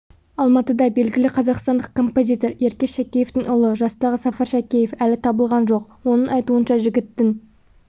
алматыда белгілі қазақстандық композитор еркеш шәкеевтің ұлы жастағы сафар шәкеев әлі табылған жоқ оның айтуынша жігіттің